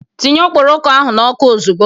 Tinye okpokoro ahu n'oku ozigbo!